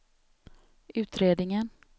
utredningen